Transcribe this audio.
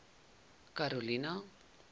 karolina